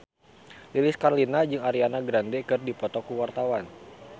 Lilis Karlina jeung Ariana Grande keur dipoto ku wartawan